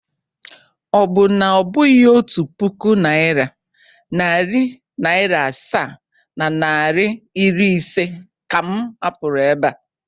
Ọ bụ na ọ bụghị otu puku naịra, narị naịra asaa na naịra iri ise ka m hapụrụ ebe a?